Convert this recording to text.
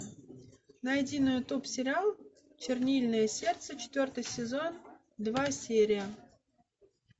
найди на ютуб сериал чернильное сердце четвертый сезон два серия